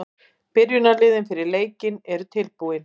Byrjunarliðin fyrir leikinn eru tilbúin.